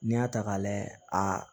N'i y'a ta k'a layɛ a